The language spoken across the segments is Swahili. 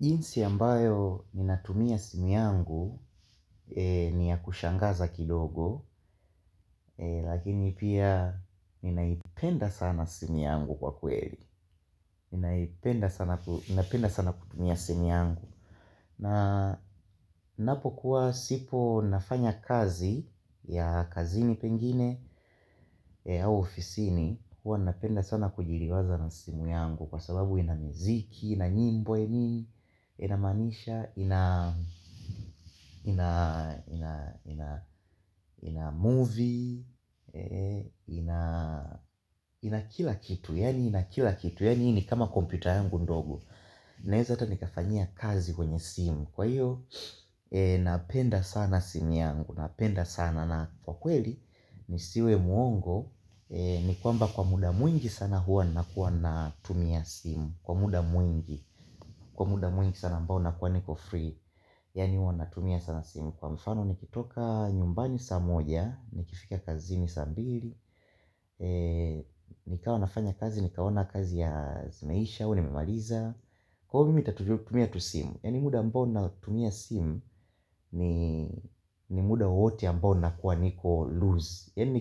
Jinsi ambayo ninatumia simu yangu ni ya kushangaza kidogo, lakini pia ni naipenda sana simu yangu kwa kweli. Ninapenda sana kutumia simu yangu. Na ninapokuwa sipo nafanya kazi ya kazini pengine au ofisini, huwa ninapenda sana kujiriwaza na simu yangu kwa sababu ina muziki, ina nyimbo nini, inamanisha, ina movie ina kila kitu yani ina kila kitu yani hii ni kama kompyuta yangu ndogo naeza ata nikafanyia kazi kwenye simu kwa hiyo napenda sana simu yangu napenda sana na kwa kweli nisiwe muongo ni kwamba kwa muda mwingi sana hua nakua natumia simu kwa muda mwingi sana ambao nakua niko free Yani huwa natumia sana simu Kwa mfano nikitoka nyumbani sa moja Nikifika kazini saa mbili nikawa nafanya kazi Nikaona kazi zimeisha au nimemaliza Kwa ivo mimi nitatumia tu simu Yani muda ambao natumia simu ni muda wote ambao nakuwa niko loose Yani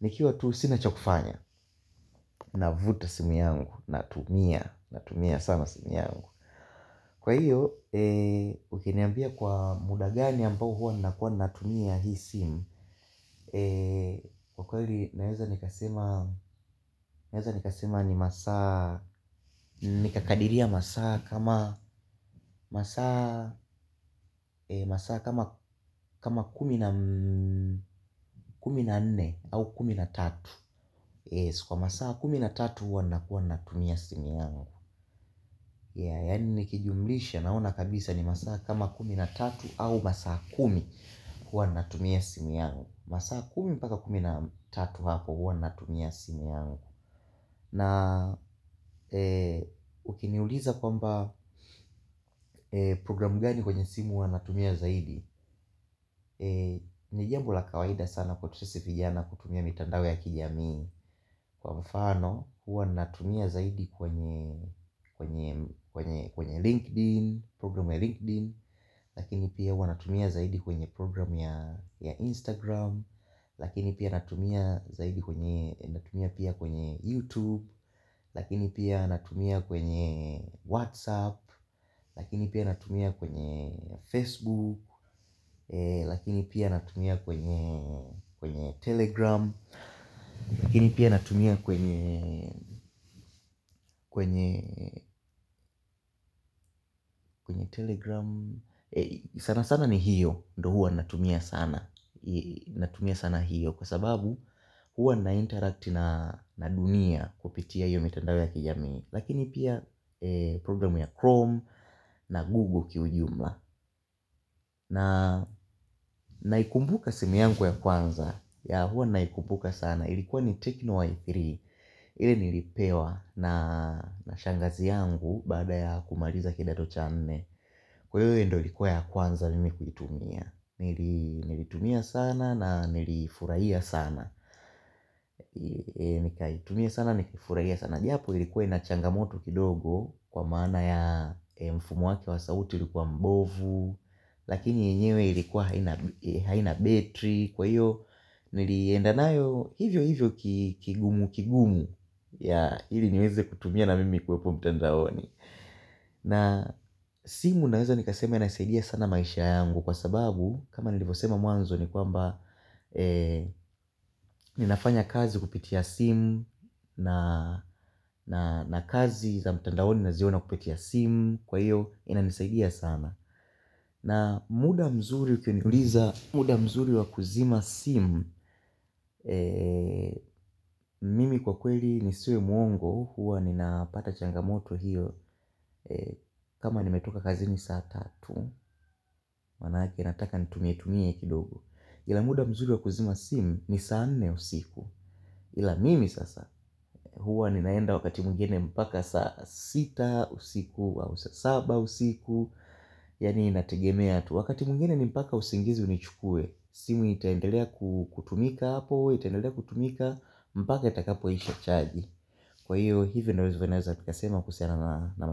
nikiwa tu sina cha kufanya navuruta simu yangu Natumia, Natumia sama simu yangu Kwa hiyo Ukiniambia kwa muda gani ambao hua nakuwa natumia hii simu kwa kweli naweza nikasema ni masaa Nikakadiria masaa kama kumi na nne au kumi na tatu Kwa masaa kumi na tatu hua nakuwa natumia simu yangu yani nikijumlisha naona kabisa ni masaa kama kumi na tatu au masa kumi Huwa natumia simu yangu masaa kumi paka kumi na tatu hapo huwa natumia simu yangu na ukiniuliza kwamba programu gani kwenye simu huwa natumia zaidi ni jambo la kawaida sana kwetu sisi vijana kutumia mitandao ya kijamii Kwa mfano huwa natumia zaidi kwenye LinkedIn Program ya LinkedIn Lakini pia huwa natumia zaidi kwenye program ya Instagram Lakini pia natumia zaidi kwenye Natumia pia kwenye YouTube Lakini pia natumia kwenye WhatsApp Lakini pia anatumia kwenye Facebook Lakini pia natumia kwenye Telegram Lakini pia anatumia kwenye Telegram sana sana ni hiyo ndo hua ninatumia sana Natumia sana hiyo Kwa sababu huwa nainteract na dunia Kupitia hiyo mitandao ya kijami Lakini pia programu ya Chrome na Google ki ujumla naikumbuka simu yangu ya kwanza huwa naikumbuka sana Ilikuwa ni Techno Y3 ile nilipewa na shangazi yangu Baada ya kumaliza kidato cha nne Kwa hiyo hio ndio ilikuwa ya kwanza mimi kuitumia Nilitumia sana na nilifurahia sana. Nikaitumia sana, nikafurahia sana. Japo ilikuwa ina changamoto kidogo kwa maana ya mfumo wake wa sauti ilikuwa mbovu. Lakini enyewe ilikuwa haina betri. Kwa iyo niliendanayo, hivyo hivyo kigumu kigumu hili nieze kutumia na mimi kuwepo mtandaoni. Na simu naweza nikasema inasaidia sana maisha yangu kwa sababu kama nilivyosema muanzo ni kwamba Ninafanya kazi kupitia simu na kazi za mtandaoni naziona kupitia simu Kwa hiyo inanisaidia sana na muda mzuri ukiniuliza muda mzuri wa kuzima simu Mimi kwa kweli nisiwe mwongo Huwa ninapata changamoto hiyo kama nimetoka kazini saa tatu Manake nataka nitumie tumie kidogo Ila muda mzuri wa kuzima simu ni saa nne usiku Ila mimi sasa, huwa ninaenda wakati mwingine mpaka saa sita usiku, au saa saba usiku Yani inategemea tu, wakati mwingine ni mpaka usingizi unichukue simu itaendelea kutumika hapo, itendelea kutumika, mpaka itakapo isha chaji Kwa hiyo, hivyo ndivyo naweza kuyasema kuhusiana navotumia.